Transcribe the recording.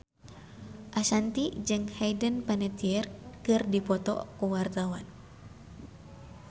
Ashanti jeung Hayden Panettiere keur dipoto ku wartawan